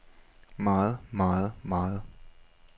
meget meget meget